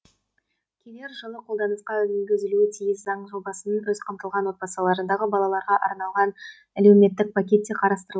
келер жылы қолданысқа енгізілуі тиіс заң жобасында аз қамтылған отбасылардағы балаларға арналған әлемуеттік пакет те қарастырылды